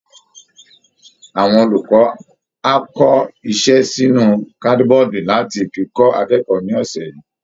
Awọn olùkọ́ á kọ iṣẹ́ sínú kádíbọọ̀dù láti fi kọ́ akẹ́kọ̀ọ́ ní ọ̀sẹ̀ yìí